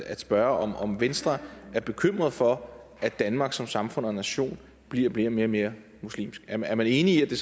at spørge om venstre er bekymret for at danmark som samfund og nation bliver bliver mere og mere muslimsk er man enig i at det